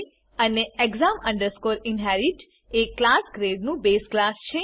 અને exam inherit એ class grade નું બેઝ ક્લાસ છે